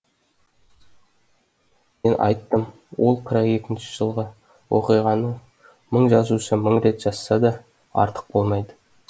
мен айттым ол қырық екінші жылғы оқиғаны мың жазушы мың рет жазса да артық болмайды